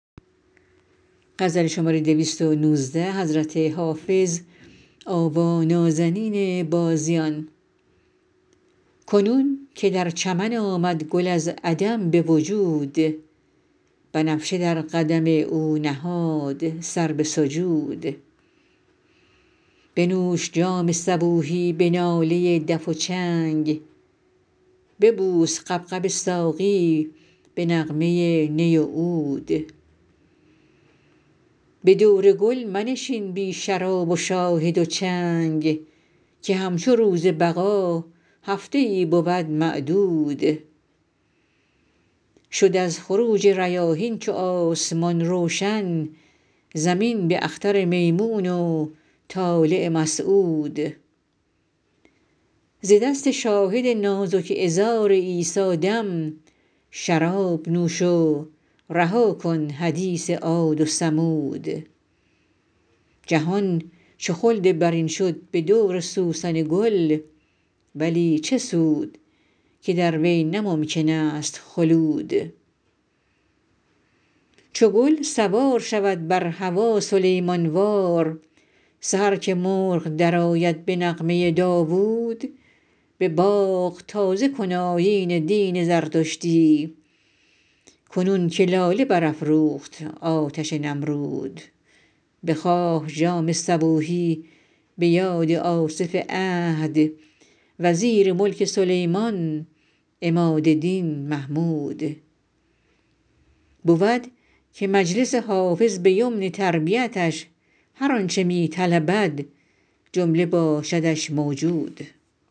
کنون که در چمن آمد گل از عدم به وجود بنفشه در قدم او نهاد سر به سجود بنوش جام صبوحی به ناله دف و چنگ ببوس غبغب ساقی به نغمه نی و عود به دور گل منشین بی شراب و شاهد و چنگ که همچو روز بقا هفته ای بود معدود شد از خروج ریاحین چو آسمان روشن زمین به اختر میمون و طالع مسعود ز دست شاهد نازک عذار عیسی دم شراب نوش و رها کن حدیث عاد و ثمود جهان چو خلد برین شد به دور سوسن و گل ولی چه سود که در وی نه ممکن است خلود چو گل سوار شود بر هوا سلیمان وار سحر که مرغ درآید به نغمه داوود به باغ تازه کن آیین دین زردشتی کنون که لاله برافروخت آتش نمرود بخواه جام صبوحی به یاد آصف عهد وزیر ملک سلیمان عماد دین محمود بود که مجلس حافظ به یمن تربیتش هر آن چه می طلبد جمله باشدش موجود